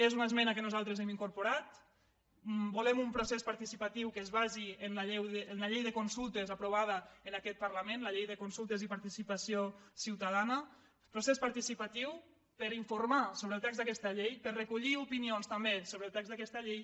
és una esmena que nosaltres hem incorporat volem un procés participatiu que es basi en la llei de con·sultes aprovada en aquest parlament la llei de consul·tes i participació ciutadana un procés participatiu per informar sobre el text d’aquesta llei per recollir opi·nions també sobre el text d’aquesta llei